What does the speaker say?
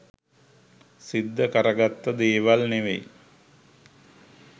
සිද්ධ කර ගත්ත දේවල් ‍නෙවෙයි.